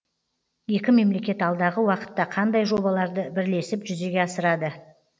екі мемлекет алдағы уақытта қандай жобаларды бірлесіп жүзеге асырады